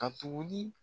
Ka tuguni